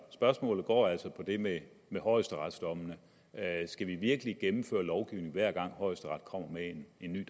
spørgsmålet går altså på det med med højesteretsdommene skal vi virkelig gennemføre lovgivning hver gang højesteret kommer med en ny